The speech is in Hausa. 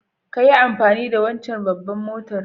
kayi amfani da wancen babbar motar.